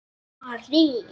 sagði Ari.